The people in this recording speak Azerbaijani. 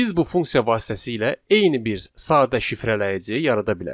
Biz bu funksiya vasitəsilə eyni bir sadə şifrələyici yarada bilərik.